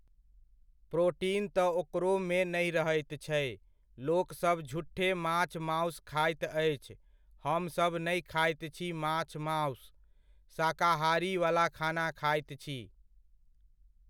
Protein तऽ ओकरोमे नहि रहैत छै, लोकसब झुठे माछ मासु खाइत अछि, हमसब नहि खाइत छी माछ मासु, शाकाहारीवला खाना खाइत छी।